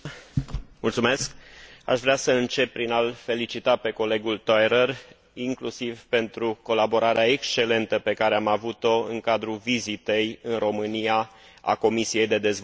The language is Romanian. Aș vrea să încep prin a l felicita pe colegul Theurer, inclusiv pentru colaborarea excelentă pe care am avut o în cadrul vizitei în România a Comisiei pentru dezvoltare regională.